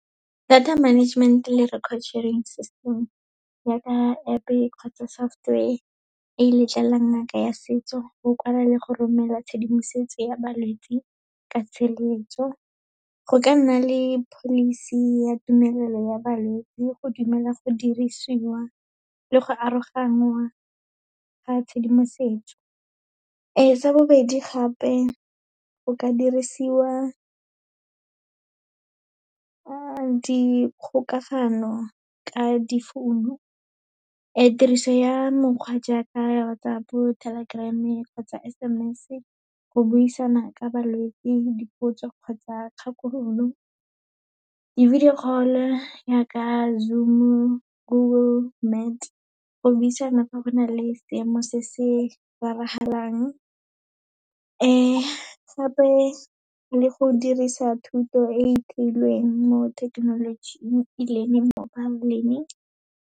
Data management le record sharing system yaaka App-e kgotsa software e letlelelang ngaka ya setso, go kwala le go romela tshedimosetso ya balwetse ka tshireletso. Go ka nna le policy ya tumelelo ya balwetse, go dumela go dirisiwa le go aroganngwa ga tshedimosetso. Sa bobedi gape, go ka dirisiwa dikgokagano ka difounu, tiriso ya mokgwa jaaka WhatsApp, Telegram kgotsa S_M_S go buisana ka balwetse, dipotso kgotsa kgakololo. Di-video call-o yaka Zoom-o, Google Meet, go buisana fa go na le seemo se se raragalang. Gape le go dirisa thuto e e theilweng mo thekenolojing, e leng mobile learning.